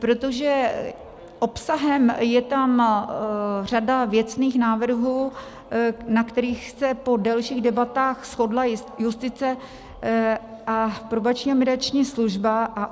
Protože obsahem je tam řada věcných návrhů, na kterých se po delších debatách shodla justice a Probační a mediační služba.